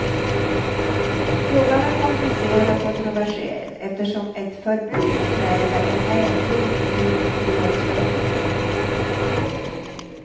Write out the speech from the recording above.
Frågan är komplicerad och kontroversiell eftersom ett förbud kräver en ändring i tryckfrihetsförordningen.